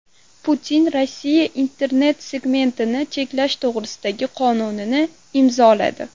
Putin Rossiya internet segmentini cheklash to‘g‘risidagi qonunni imzoladi.